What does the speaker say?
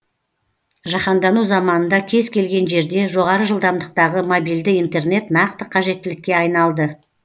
жаһандану заманында кез келген жерде жоғары жылдамдықтағы мобильді интернет нақты қажеттілікке айналды